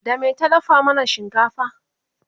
da me ta dafa mana shinkafa?